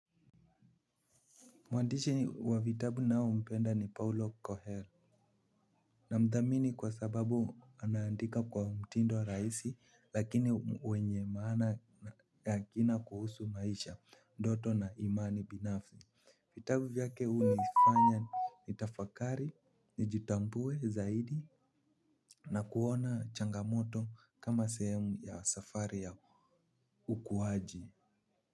Mwandishi wa vitabu naye mpenda ni paulo kohera. Na mdhamini kwa sababu anaandika kwa mtindo rahisi lakini wenye maana ya kina kuhusu maisha ndoto na imani binafsi. Vitabu vyake huu nifanya ni tafakari ni jitambue zaidi na kuona changamoto kama sehemu ya safari ya ukuwaji.